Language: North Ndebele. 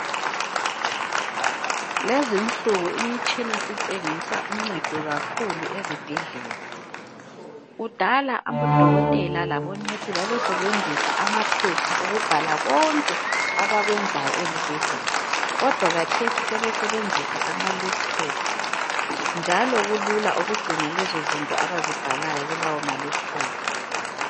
Lezinsuku imitshina sitshengisa uncedo kakhulu ezibhendlela kudala odokotela labomongikazi babesebenzisa amapheoha ukubhala konke abakwenzayo ezibhendlela kodwa khathesi sebesebenzisa ama laptop njalo kulula ukugcina lezo zinto abazibhalayo kulawomalaptop.